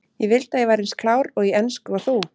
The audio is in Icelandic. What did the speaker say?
Ég vildi að ég væri eins klár í ensku og þú.